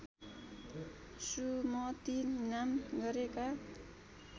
सुमति नाम गरेका